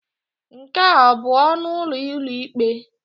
Nke a ọ bụ ọnụ ụlọ ụlọikpe?